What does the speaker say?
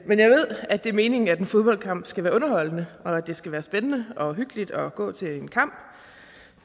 men jeg ved at det er meningen at en fodboldkamp skal være underholdende og at det skal være spændende og hyggeligt at gå til en kamp